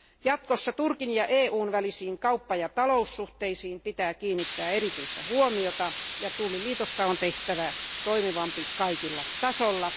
Jatkossa Turkin ja EUn välisiin kauppa ja taloussuhteisiin pitää kiinnittää erityistä huomiota ja tulliliitosta on tehtävä toimivampi kaikilla tasoilla.